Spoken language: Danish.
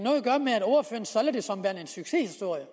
succeshistorie